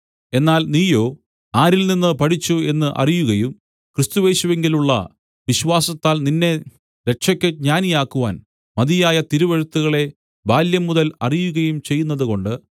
എന്നാൽ നീയോ ആരിൽനിന്ന് പഠിച്ചു എന്ന് അറിയുകയും ക്രിസ്തുയേശുവിങ്കലുള്ള വിശ്വാസത്താൽ നിന്നെ രക്ഷയ്ക്ക് ജ്ഞാനിയാക്കുവാൻ മതിയായ തിരുവെഴുത്തുകളെ ബാല്യംമുതൽ അറിയുകയും ചെയ്യുന്നതുകൊണ്ട്